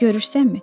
Görürsənmi?